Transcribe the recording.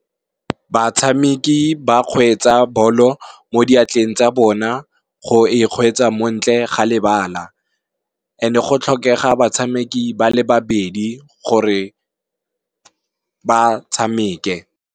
Batshameki ba kgweetsa balo mo diatleng tsa bona go e kgweetsa mo ntle ga lebala, and-e go tlhokega batshameki bale babedi gore ba tshameke.